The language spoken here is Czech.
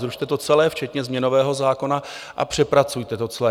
Zrušte to celé včetně změnového zákona a přepracujete to celé.